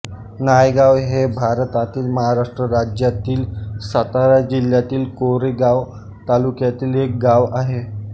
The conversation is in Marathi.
नायगाव हे भारतातील महाराष्ट्र राज्यातील सातारा जिल्ह्यातील कोरेगाव तालुक्यातील एक गाव आहे